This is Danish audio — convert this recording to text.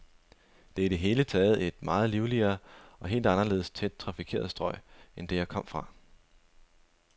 Det er i det hele taget et meget livligere, et helt anderledes tæt trafikeret strøg end det, jeg kom fra.